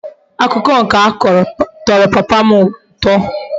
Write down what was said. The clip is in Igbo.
Akuko nke a Koro toro papa m uto